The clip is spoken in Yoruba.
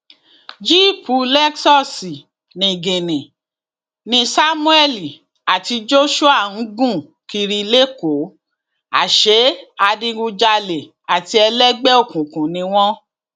jíìpù lexus niginni ni samuel àti joshua ń gùn kiri lẹkọọ àṣẹ adigunjalè àti ẹlẹgbẹ òkùnkùn ni wọn